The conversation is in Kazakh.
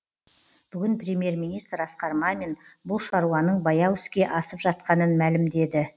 бүгін премьер министр асқар мамин бұл шаруаның баяу іске асып жатқанын мәлімдеді